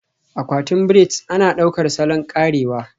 Akwatin braids ana ɗaukar salon karewa